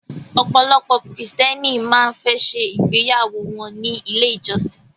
Ọ̀pọ̀lọpọ̀ krìstẹ́nì máa ń fẹ́ ṣe ìgbéyàwó wọ́n ní ilé ìjọsin.